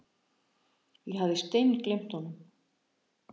Ég hafði steingleymt honum.